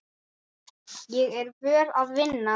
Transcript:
Ég er vön að vinna.